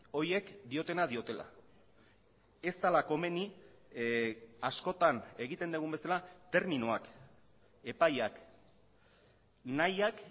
horiek diotena diotela ez dela komeni askotan egiten dugun bezala terminoak epaiak nahiak